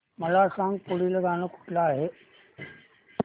मला सांग पुढील गाणं कुठलं आहे